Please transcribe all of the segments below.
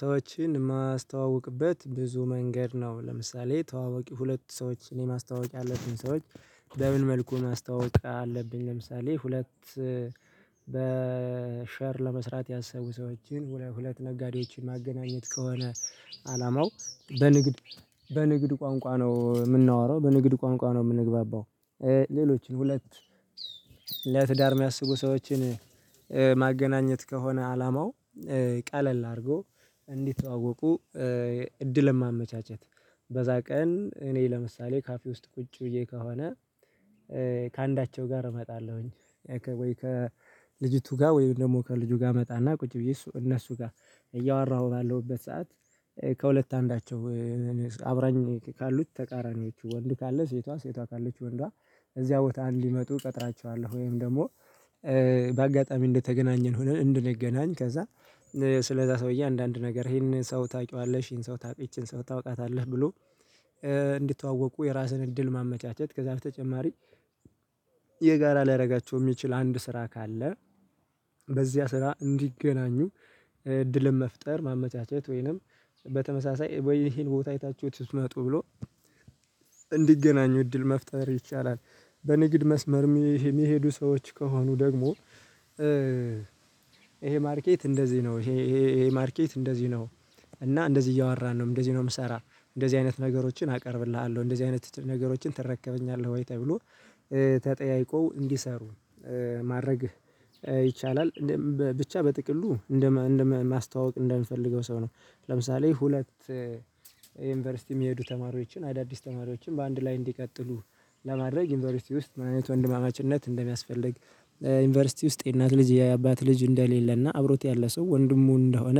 ሰዎችን ማስተዋውቅበት ብዙ መንገድ ነው። ለምሳሌ ተዋዋቂ ሁለት ሰዎች እኔ ማስተዋወቅ ያለብኝ ሰዎች በምን መልኩ ማስተዋወቅ አለብኝ? ለምሳሌ ሁለት በሼር ለመስራት ያሰቡ ሰዎችን ሁለ ሁለት ነጋዴዎችን ማገናኘት ከሆነ አላማው በንግድ በንግድ ቋንቋ ነው ምናወራው በንግድ ቋንቋ ነው ምንግባባው። ሌሎችን ሁለት ለትዳር የሚያስቡ ሰዎችን ማገናኘት ከሆነ አላማው ቀለል አድርጎ እንዲተዋወቁ እድል ለማመቻቸት። በዛ ቀን እኔ ለምሳሌ ካፌ ውስጥ ቁጭ ብዬ ከሆነ። ከአንዳቸው ጋር እመጣለሁኝ ወይ ከልጅቱ ጋር ወይም ደግሞ ከልጁ ጋር መጣ እና ቁጭ ብዬ እሱ እነሱ ጋር እያወራሁ ባለሁበት ሰዓት። ከሁለት አንዳቸው አብራኝ ካሉት ተቃራኒዎቹ ወንድ ካለ ሴቷ ሴቷ ካለች ወንዷ። እዚያ ቦታ እንዲመጡ እቀጥራቸዋለሁ ወይም ደግሞ በአጋጣሚ እንደተገናኘን ሆነን እንድንገናኝ ከዛ ስለዛ ሰውዬ አንዳንድ ነገር ይሄንን ሰው ታውቂዋለሽ? ይሄን ሰው ታውቂ? ይቺን ሰው ታውቃታለህ? ብሎ እንዲተዋወቁ የራስን እድል ማመቻቸት ከዛ በተጨማሪ የጋራ ሊያረጋቸው ሚችል አንድ ስራ ካለ። በዚያ ስራ እንዲገናኙ እድልን መፍጠር ማመቻቸት ወይንም በተመሳሳይ ወይ ይሄን ቦታ አይታችሁ ልትመጡ ብሎ እንዲገናኙ እድል መፍጠር ይቻላል። በንግድ መስመር ሚሄ ሚሄዱ ሰዎች ከሆኑ ደግሞ ይሄ ማርኬት እንደዚህ ነው ይሄ ይሄ ይሄ ማርኬት እንደዚህ ነው። እና እንደዚህ እያወራን ነው እንደዚህ ነው ምሰራ እንደዚህ አይነት ነገሮችን አቀርብልሃለሁ እንደዚህ አይነት ነገሮችን ተረከበኛለሁ ወይ ተብሎ ተጠያይቀው እንዲሰሩ ማድረግ ይቻላል ብቻ በጥቅሉ እንደመ እንደመ ማስተዋወቅ እንደምፈልገው ሰው ነው። ለምሳሌ ሁለት ዩኒቨርሲቲ ሚሄዱ ተማሪዎችን አዳዲስ ተማሪዎችን በአንድ ላይ እንዲቀጥሉ ለማድረግ ዩኒቨርሲቲ ውስጥ ምን አይነት ወንድማማችነት እንደሚያስፈልግ? ዩኒቨርሲቲ ውስጥ የእናት ልጅ የአባት ልጅ እንደሌለ እና አብሮት ያለ ሰው ወንድሙ እንደሆነ።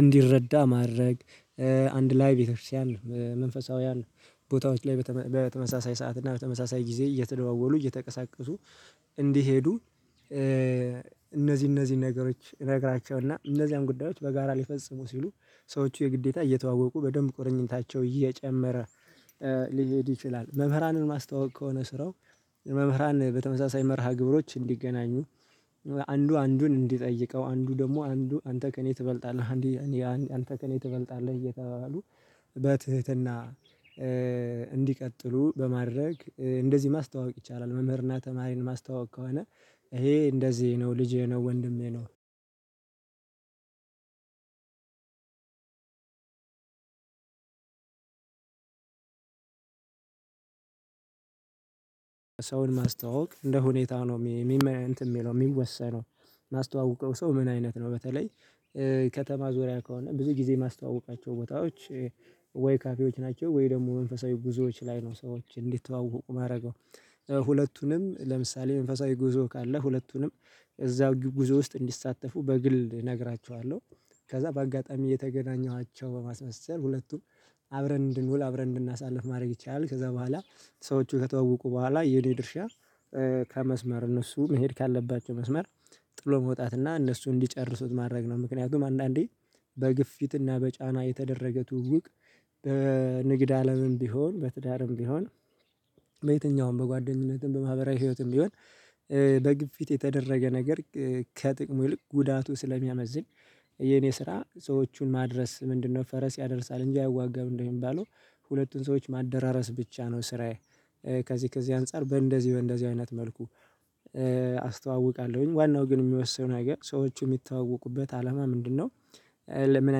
እንዲረዳ ማድረግ አንድ ላይ ቤተክርስቲያን መንፈሳውያን ቦታዎች ላይ በተመ በተመሳሳይ ሰዓት እና በተመሳሳይ ጊዜ እየተደዋወሉ እየተቀሳቀሱ እንዲሄዱ። እነዚህ እነዚህን ነገሮች እነግራቸውና እነዚያን ጉዳዮች በጋራ ሊፈጽሙ ሲሉ ሰዎቹ የግዴታ እየተዋወቁ በደንብ ቁርኝታቸው እየጨመረ ሊሄድ ይችላል። መምህራንን ማስተዋወቅ ከሆነ ስራው መምህራን በተመሳሳይ መርሃ ግብሮች እንዲገናኙ አንዱ አንዱን እንዲጠይቀው አንዱ ደግሞ አንዱ አንተ ከእኔ ትበልጣለህ አንዴ አንዴ አን አንተ ከእኔ ትበልጣለህ እየተባባሉ በትህትና እንዲቀጥሉ በማድረግ እንደዚህ ማስተዋወቅ ይቻላል። መምህር እና ተማሪን ማስተዋወቅ ከሆነ ይሄ እንደዚህ ነው ልጄ ነው ወንድሜ ነው። ሰውን ማስተዋወቅ እንደ ሁኔታው ነው ሚ ሚመ እንትን ሚለው ሚወሰነው። ማስተዋውቀው ሰው ምን አይነት ነው? በተለይ ከተማ ዙሪያ ከሆነ ብዙ ጊዜ ማስተዋውቃቸው ቦታዎች ወይ ካፌዎች ናቸው ወይ ደግሞ መንፈሳዊ ጉዞዎች ላይ ነው። ሰዎች እንዲተዋወቁ ማረገው ሁለቱንም ለምሳሌ መንፈሳዊ ጉዞ ካለ ሁለቱንም እዛ ግ ጉዞ ውስጥ እንዲሳተፉ በግል እነግራቸዋለው ከዛ በአጋጣሚ የተገናኘኋቸው በማስመሰል ሁለቱን አብረን እንድንውል አብረን እንድናሳልፍ ማድረግ ይቻላል። ከዛ በኋላ ሰዎቹ ከተዋወቁ በኋላ የኔ ድርሻ ከመስመር እነሱ መሄድ ካለባቸው መስመር ጥሎ መውጣት እና እነሱ እንዲጨርሱት ማድረግ ነው። ምክንያቱም አንዳንዴ በግፊት እና በጫና የተደረገ ትውውቅ በንግድ አለምም ቢሆን በትዳርም ቢሆን በየትኛውም በጓደኝነትም በማህበራዊ ህይወትም ቢሆን በግፊት የተደረገ ነገር ከጥቅሙ ይልቅ ጉዳቱ ስለሚያመዝን። የኔ ስራ ሰዎቹን ማድረስ ምንድነው ፈረስ ያደርሳል እንጂ አይዋጋም እንደሚባለው ሁለቱን ሰዎች ማደራረስ ብቻ ነው። ስራዬ ከዚህ ከዚህ አንፃር በእንደዚህ በእንደዚህ አይነት መልኩ አስተዋውቃለሁኝ። ዋናው ግን እሚወስነው ነገር ሰዎቹ ሚተዋወቁበት አላማ ምንድነው? ለምን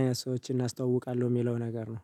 አይነት ሰዎችን አስተዋውቃለሁ ሚለው ነገር ነው